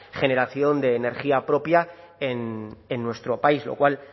generación de energía propia en nuestro país lo cual